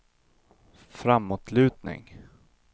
framåtlutning